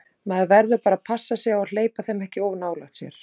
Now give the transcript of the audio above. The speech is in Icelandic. Maður verður bara að passa sig á að hleypa þeim ekki of nálægt sér.